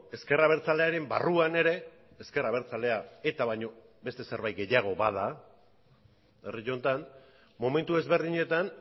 ezker abertzalearen barruan ere ezker abertzalea eta baino beste zerbait gehiago bada herri honetan momentu ezberdinetan